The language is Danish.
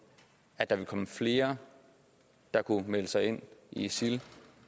at der vil komme flere der kunne melde sig ind i isil